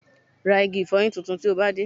Ra igi ìfọyín tuntun tí o bá dé